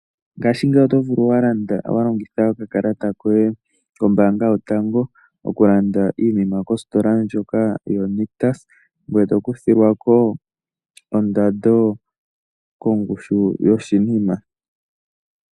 Ngaashingeyi oto vulu wa landa wa longitha okakalata koye kOmbaanga Yotango okulanda iinima kositola ndjoka yoNictus ngoye to kuthilwa ko ondando kongushu yoshinima.